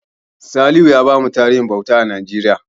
Salim ya bamu tarihin bauta a Najeriya.